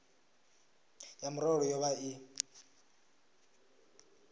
ya murole yo vha i